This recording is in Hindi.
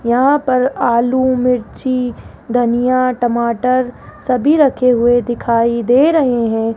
यहाँ पर आलू मिर्ची दानिया टमाटर सभी रखे हुई दिखाई दे रहे हैं।